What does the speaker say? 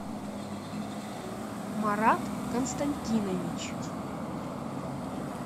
марат константинович